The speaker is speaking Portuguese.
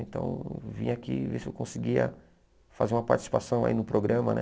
Então eu vim aqui ver se eu conseguia fazer uma participação aí no programa, né?